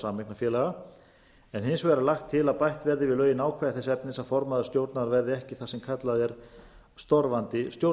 sameignarfélaga en hins vegar er lagt til að bætt verði við lögin ákvæði þess efnis að formaður stjórnar verði ekki það sem kallað er